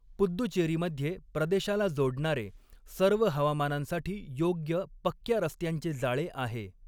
पुद्दुचेरीमध्ये प्रदेशाला जोडणारे, सर्व हवामानांसाठी योग्य पक्क्या रस्त्यांचे जाळे आहे.